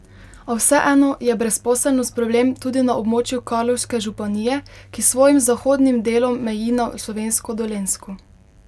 A vseeno je brezposelnost problem tudi na območju Karlovške županije, ki s svojim zahodnim delom meji na slovensko Dolenjsko.